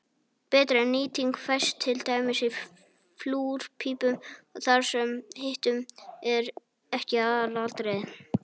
betri nýting fæst til dæmis í flúrpípum þar sem hitun er ekki aðalatriðið